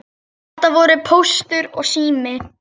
Þetta voru Póstur og Sími.